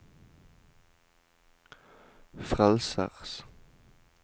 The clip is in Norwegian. frelsers